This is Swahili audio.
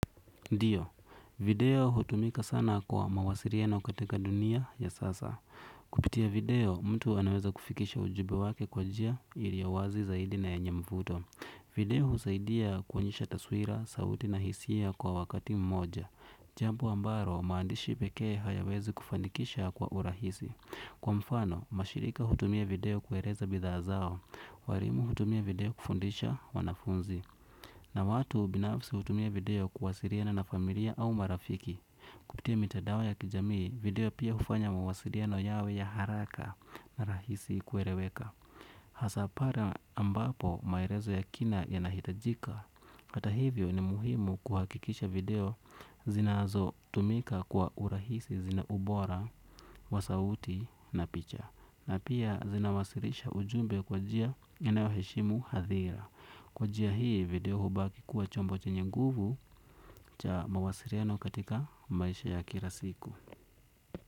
Ndiyo, video hutumika sana kwa mawasiliano katika dunia ya sasa. Kupitia video, mtu anaweza kufikisha ujumbe wake kwa njia ilio wazi zaidi na yenye mvuto. Video husaidia kuonyesha taswira, sauti na hisia kwa wakati mmoja. Jambo ambalo, maandishi pekee hayawezi kufanikisha kwa urahisi. Kwa mfano, mashirika hutumia video kueleza bidhaa zao. Warimu hutumia video kufundisha, wanafunzi. Na watu binafsi hutumia video kuwasiliana na familia au marafiki. Kupitia mitadao ya kijamii, video pia hfanya mawasiliano yawe ya haraka na rahisi kueleweka. Hasaa para ambapo maelezo ya kina yanahitajika. Kata hivyo ni muhimu kuhakikisha video zinazotumika kwa urahisi zina ubora, wa sauti na picha. Na pia zinawasilisha ujumbe kwa njia inayoheshimu hadhira. Kwa njia hii video hubaki kuwa chombo chenye nguvu cha mawasiliano katika maisha ya kila siku.